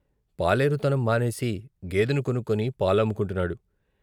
పాలేరు తనం మానేసి గేదెని కొనుక్కొని పాలమ్ముకుంటున్నాడు.